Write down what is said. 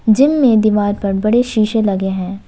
Gym में दीवार पर बड़े शीशे लगे हैं।